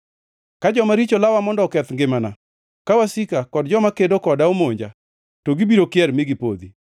Ka joma richo lawa mondo oketh ngimana, ka wasika kod joma kedo koda monja, to gibiro kier mi gipodhi.